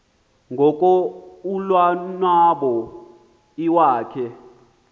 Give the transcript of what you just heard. ngoko ulonwabo iwakhe